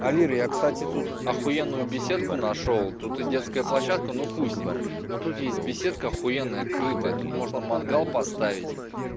овир я кстати тут ахуенную беседку нашёл тут и детская площадка ну хуй с ним но тут есть беседка ахуенная крытая тут можно мангал поставить